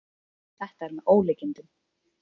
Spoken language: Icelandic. Þetta er með ólíkindum